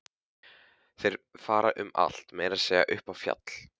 Þeir fara um allt, meira að segja upp í fjall.